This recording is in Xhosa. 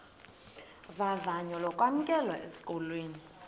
vavanyo lokwamkelwa esikolweni